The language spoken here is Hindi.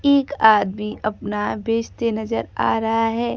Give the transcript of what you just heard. एक आदमी अपना बेचते नजर आ रहा है।